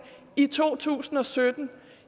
i to tusind og sytten